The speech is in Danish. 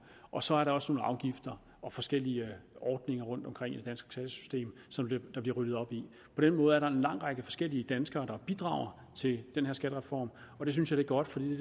og så er der også nogle afgifter og forskellige ordninger rundtomkring i det danske skattesystem som der bliver ryddet op i på den måde er der en lang række forskellige danskere der bidrager til den her skattereform og det synes jeg er godt for det